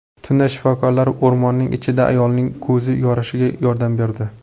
Tunda shifokorlar o‘rmonning ichida ayolning ko‘zi yorishiga yordam berdi.